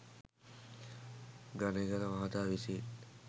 ගනේගල මහතා විසින්